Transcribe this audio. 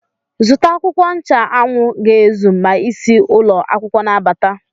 Zụta akwụkwọ ncha anwụ ga-ezu ma isi ụlọ akwụkwọ na-abata!